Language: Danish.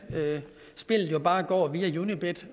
spillet bare går via unibet